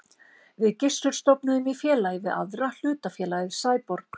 Við Gissur stofnuðum í félagi við aðra hlutafélagið Sæborg.